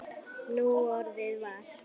Núorðið var